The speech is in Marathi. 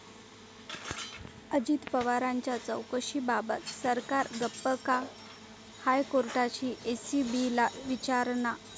अजित पवारांच्या चौकशीबाबत सरकार गप्प का?, हायकोर्टाची एसीबीला विचारणा